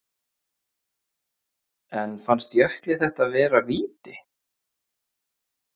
En fannst Jökli þetta vera víti?